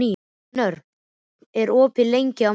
Knörr, hvað er opið lengi á mánudaginn?